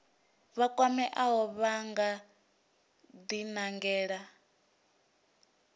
vha kwameaho vha nga dinangela